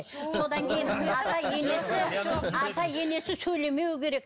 содан кейін ата енесі ата енесі сөйлемеуі керек